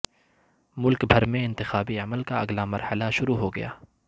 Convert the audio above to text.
ملک بھر میں انتخابی عمل کا اگلا مرحلہ شروع ہوگیا